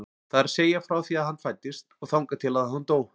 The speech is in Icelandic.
Það er að segja frá því að hann fæddist og þangað til að hann dó.